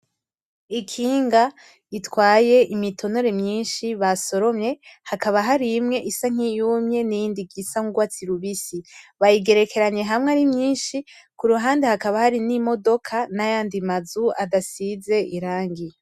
Ikinga ritwaye imitonore myinshi basoromye, hakaba harimwe isa nkiyumye n'iyindi isa nk'urwatsi rubisi. Bayigerekeranye hamwe ari myinshi kuruhande hakaba Hari n' imodoka n'ayandi mazu adasize irangi.